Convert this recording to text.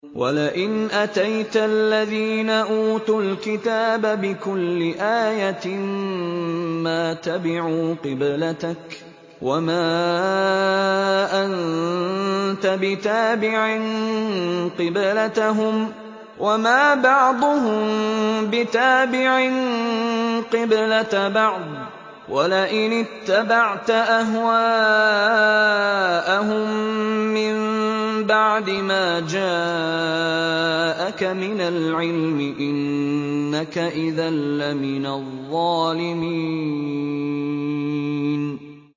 وَلَئِنْ أَتَيْتَ الَّذِينَ أُوتُوا الْكِتَابَ بِكُلِّ آيَةٍ مَّا تَبِعُوا قِبْلَتَكَ ۚ وَمَا أَنتَ بِتَابِعٍ قِبْلَتَهُمْ ۚ وَمَا بَعْضُهُم بِتَابِعٍ قِبْلَةَ بَعْضٍ ۚ وَلَئِنِ اتَّبَعْتَ أَهْوَاءَهُم مِّن بَعْدِ مَا جَاءَكَ مِنَ الْعِلْمِ ۙ إِنَّكَ إِذًا لَّمِنَ الظَّالِمِينَ